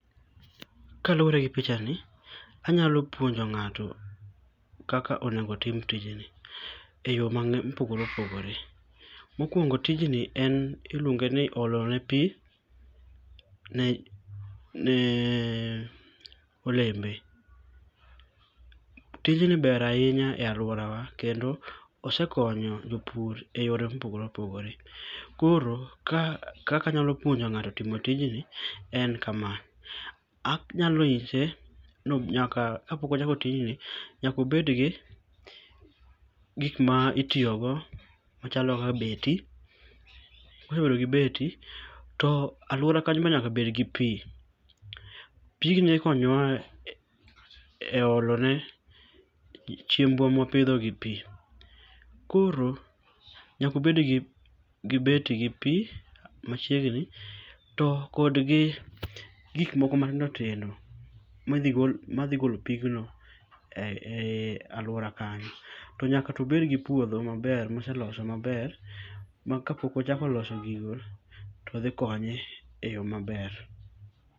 Kaluore gi pichani, anyalo puonjo ng'ato kaka onego otim tijni eyoo mang'eny mopogore opogore. mokuongo tijni en iluonge ni olo ne pii ne neee olembe. Tijni ber ahinya e aluorawa kendo osekonyo jopur eyore mopogore opogore, koro ka kaka anyalo puonjo ng'ato timo tijni en kamaa, anyalo nyishe no nyaka kapok ochako tijni nyaka obedgi gikma itiyogo machalo kaka beti, kosebedo gi beti, to aluora kanyo nyaka bed gi pii. Pigni ikonyowa e eolone chiembwa ma wapidho gi pii. Koro nyaka obed gi beti gi pii machiegni to kodgi gik moko matindo tindo madhigol madhigolo pigno e ei aluora kanyo. To nyaka to obed gi puodho maber moseloso maber makapok ochako loso gigo to dhi konye e yoo maber.